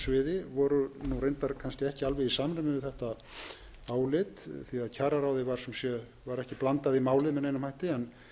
sviði voru reyndar kannski ekki alveg í sam við þetta álit því að kjararáði var ekki blandað í málið með neinum hætti en